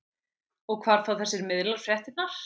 Og hvar fá þessir miðlar fréttirnar?